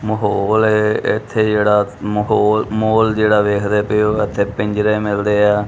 ਮਾਹੌਲ ਏ ਇਥੇ ਜਿਹੜਾ ਮਾਹੌਲ ਮੋਲ ਜਿਹੜਾ ਵੇਖਦੇ ਪਏ ਉਹ ਇਥੇ ਪਿੰਜਰੇ ਮਿਲਦੇ ਆ।